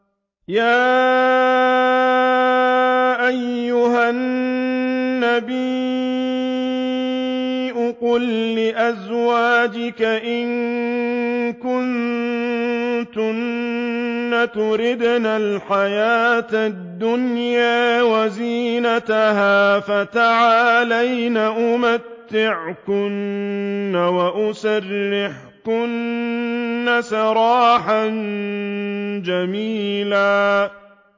يَا أَيُّهَا النَّبِيُّ قُل لِّأَزْوَاجِكَ إِن كُنتُنَّ تُرِدْنَ الْحَيَاةَ الدُّنْيَا وَزِينَتَهَا فَتَعَالَيْنَ أُمَتِّعْكُنَّ وَأُسَرِّحْكُنَّ سَرَاحًا جَمِيلًا